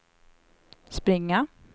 springa